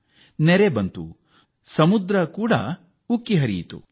ಅದು ಪ್ರವಾಹಕ್ಕೂ ಕಾರಣವಾಯಿತು ಮತ್ತು ಎತ್ತರದ ಸಾಗರದ ಅಲೆಗಳು ಎದ್ದವು